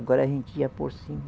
Agora a gente ia por cima.